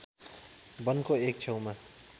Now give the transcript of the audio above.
वनको एक छेउमा